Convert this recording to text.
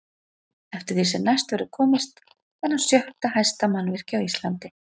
Eftir því sem næst verður komist er hann sjötta hæsta mannvirki á Íslandi.